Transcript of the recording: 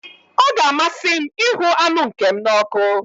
Ọ ga-amasị m ịhụ anụ nke m n'ọkụ.